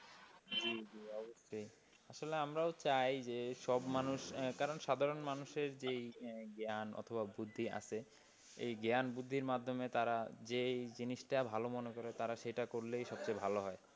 আসলে আমরাও চাই যে সব মানুষরাই কারন সাধারণ মানুষের যে জ্ঞান অথবা বুদ্ধি আছে, সেই জ্ঞান বুদ্ধির মাধ্যমে তারা যে এই জিনিসটা ভালো-মন্দ তারা বিচার করবে, সবচেয়ে ভালো হয়।